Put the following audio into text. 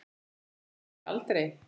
Sagði einhver aldrei?